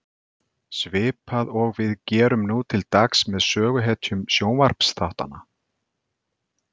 Svipað og við gerum nú til dags með söguhetjum sjónvarpsþáttanna.